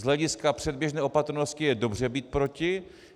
Z hlediska předběžné opatrnosti je dobře být proti.